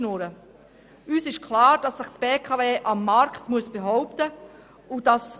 Uns ist klar, dass sich die BKW am Markt behaupten muss.